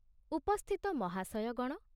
ଉପସ୍ଥିତ ମହାଶୟଗଣ